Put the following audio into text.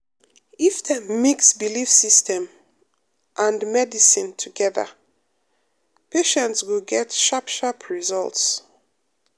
if dem mix belief system and medicine um together um patients go get sharp sharp results.